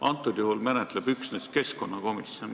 Antud juhul menetleb seda üksnes keskkonnakomisjon.